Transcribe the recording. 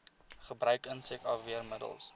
gebruik insek afweermiddels